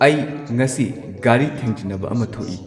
ꯑꯩ ꯉꯁꯤ ꯒꯥꯔꯤ ꯊꯦꯡꯖꯤꯟꯅꯕ ꯑꯃ ꯊꯣꯛꯢ